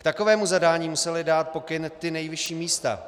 K takovému zadání musela dát pokyn ta nejvyšší místa.